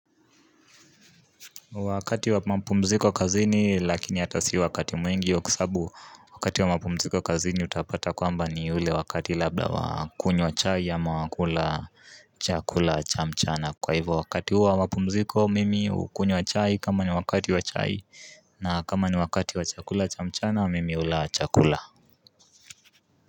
Wakati wa mapumziko kazini lakini hata si wakati mwingi yeah kwa sababu wakati wa mapumziko kazini utapata kwamba ni ule wakati labda wa kunywa chai ama wa kula chakula cha mchana. Kwa hivyo wakati huo wa mapumziko mimi hukunywa chai kama ni wakati wa chai na kama ni wakati wa chakula cha mchana mimi hula chakula.